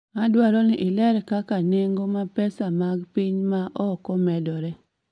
Adwaro ni iler kaka nengo ma pesa mag piny ma oko medore